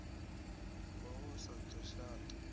ngoho u sa ḓo shata